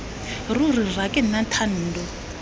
ruri rra ke nna thando